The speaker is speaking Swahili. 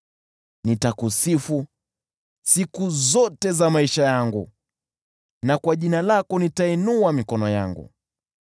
Nitakusifu siku zote za maisha yangu, na kwa jina lako nitainua mikono yangu.